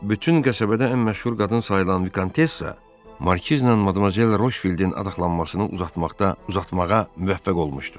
Bütün qəsəbədə ən məşhur qadın sayılan Vikontessa Markizlə Madmazel Rofildin adaxlanmasını uzatmağa müvəffəq olmuşdu.